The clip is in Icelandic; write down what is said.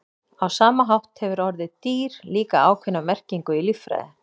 á sama hátt hefur orðið „dýr“ líka ákveðna merkingu í líffræði